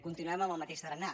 continuem amb el mateix tarannà